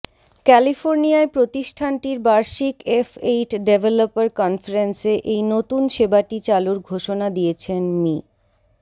ক্যালিফোর্নিয়ায় প্রতিষ্ঠানটির বার্ষিক F eight developer কনফারেন্সে এই নতুন সেবাটি চালুর ঘোষণা দিয়েছেন মি